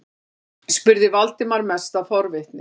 spurði Valdimar, mest af forvitni.